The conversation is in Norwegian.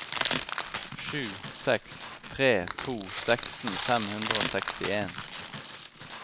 sju seks tre to seksten fem hundre og sekstien